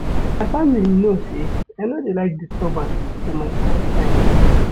My family know sey I no dey like disturbance for my quiet time.